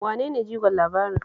Wane ne jigon labarin?